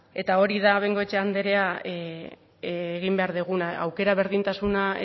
eta hori da bengoechea andrea egin behar duguna aukera berdintasuna